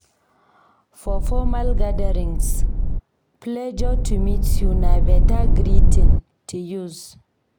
For formal gatherings, "Pleasure to meet you" na beta greeting to use.